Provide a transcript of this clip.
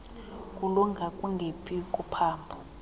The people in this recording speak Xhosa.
kulunga kungephi kophambo